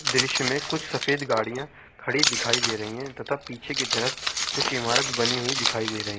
दृश्य में कुछ सफ़ेद गाड़ियां खड़ी दिखाई दे रही हैं तथा पीछे की तरफ कुछ इमारत बनी हुई दिखाई दे रहीं।